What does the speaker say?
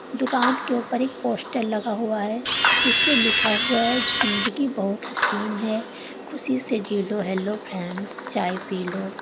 दुकान के ऊपर एक पोस्टर लगा हुआ है इसपे लिखा हुआ है जिंदगी बहोत हसीन है खुशी से जिलो हेलो फ्रेंड्स चाय पी लो।